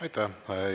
Aitäh!